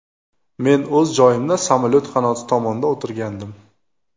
Men o‘z joyimda, samolyot qanoti tomonda o‘tirgandim.